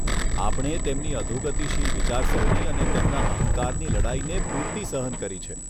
આપણે તેમની અધોગતિશીલ વિચારસરણી અને તેમના અહંકારની લડાઈને પૂરતી સહન કરી છે.